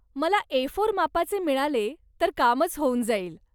मला A four मापाचे मिळाले तर कामच होऊन जाईल.